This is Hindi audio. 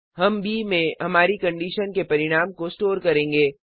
हम ब में हमारी कंडीशन के परिणाम को स्टोर करेंगे